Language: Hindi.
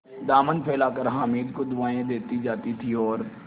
दामन फैलाकर हामिद को दुआएँ देती जाती थी और